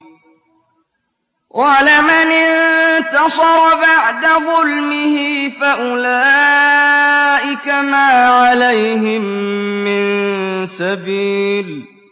وَلَمَنِ انتَصَرَ بَعْدَ ظُلْمِهِ فَأُولَٰئِكَ مَا عَلَيْهِم مِّن سَبِيلٍ